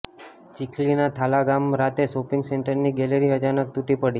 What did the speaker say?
ચીખલીના થાલા ગામે રાતે શોપિંગ સેન્ટરની ગેલેરી અચાનક તૂટી પડી